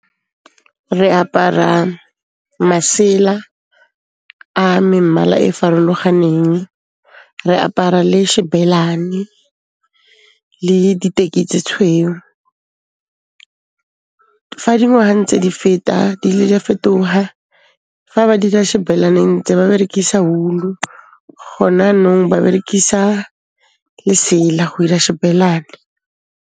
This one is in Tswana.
Re apara, masela, a memmala e e farologaneng. Re apara le shebelane, le diteki tse tshweu . Fa dingwaga ntse di feta di le di a fetoha, fa ba dira shebelane ntse ba berekisa wool-u. Gone nou ba berekisa lesela go ira shebelane.